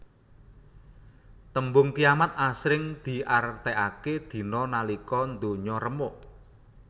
Tembung kiamat asring diartèkaké dina nalika ndonya remuk